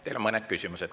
Teile on mõned küsimused.